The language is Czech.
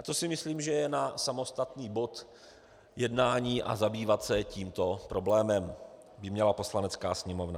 A to si myslím, že je na samostatný bod jednání a zabývat se tímto problémem by měla Poslanecká sněmovna.